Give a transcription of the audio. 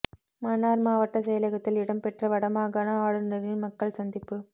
மன்னார் மாவட்டச் செயலகத்தில் இடம் பெற்ற வடமாகாண ஆளுநரின் மக்கள் சந்திப்பு